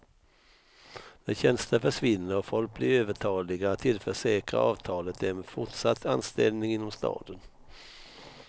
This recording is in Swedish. När tjänster försvinner och folk blir övertaliga tillförsäkrar avtalet dem fortsatt anställning inom staden.